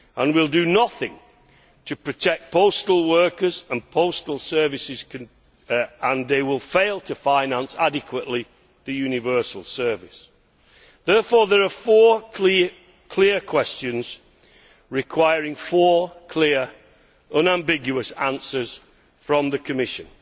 will do nothing to protect postal workers and postal services and will fail to finance adequately the universal service. Therefore, there are four clear questions requiring four clear, unambiguous answers from the Commission.